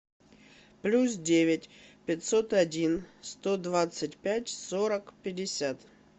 плюс девять пятьсот один сто двадцать пять сорок пятьдесят